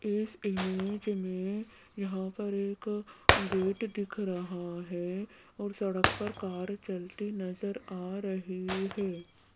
इस इमेज में यहां पर एक गेट दिख रहा है और सड़क पर कार चलती नजर आ रही है।